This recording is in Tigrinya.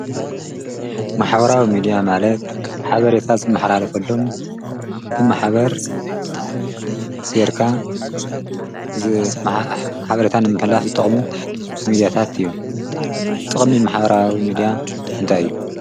መሓበራዊ ሚድያ ማለድ ሓበርታ ዝመኃላለፈሎም ብመኃበር ገርካ ዝሓበረታን ምሕላፍ ዝጠቕሙ ሚድያታት እዮም ጥቕሚ መሓበራዊ ሚድያ እንታይዩ?